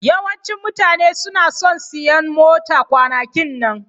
Yawancin mutane suna son siyan mota kwanakin nan.